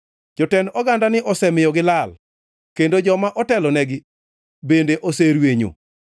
Jotend ogandani osemiyo gilal kendo joma otelnegi bende oserwenyo.